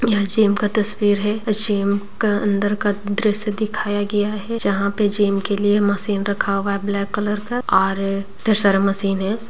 यहाँ जिम का तस्वीर है जिम का अंदर का दृश्य दिखाया गया है जहां पे जिम के लिए मशीन रखा हुआ है ब्लैक कलर का और ढेर सारा मशीन है।